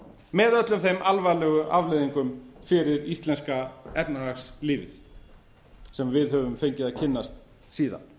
með öllum þeim alvarlegu afleiðingum fyrir íslenska efnahagslífið sem við höfum fengið að kynnast síðan